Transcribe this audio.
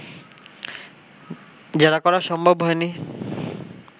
জেরা করা সম্ভব হয়নি